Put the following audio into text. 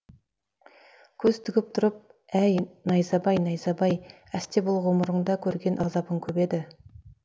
көз тігіп тұрып әй найзабай найзабай әсте бұл ғұмырыңда көрген азабың көп еді